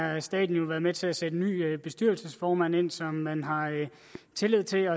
har staten været med til at sætte en ny bestyrelsesformand ind som man har tillid til